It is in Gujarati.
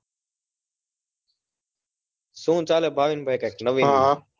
શું ચાલે ભાવિનભાઈ નવીનમાં